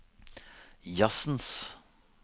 jazzens